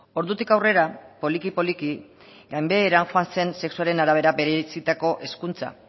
ordutik aurrera poliki poliki gainbeheran joan zen sexuaren arabera bereizitako hezkuntza